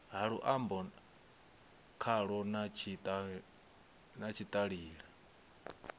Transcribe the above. ha luambo khalo na tshitaila